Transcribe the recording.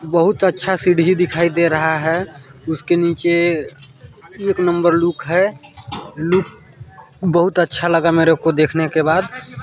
बहुत अच्छा सीढ़ी दिखाई दे रहा है उसके नीचे एक नंबर लुक है लुक बहुत अच्छा लगा मेरे को देखने के बाद--